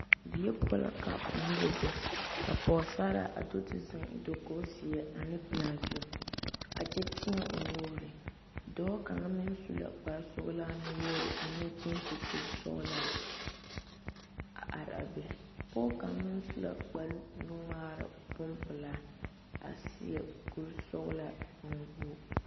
Die poɔ la ka noba be ka pɔgesera zeŋ dakogi ziɛ ne pelaa zu a kyɛ tie o nuure dɔɔ kaŋ su la kpare sɔglaa nu wogre ane gesi kuri sɔglɔ a are a be ,pɔge kaŋa meŋ su la kpare nu ŋmaare bonpeɛle a seɛ kuri sɔglaa bon wogi.